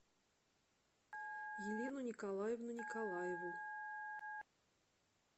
елену николаевну николаеву